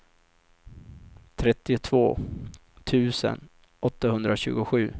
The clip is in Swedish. trettiotvå tusen åttahundratjugosju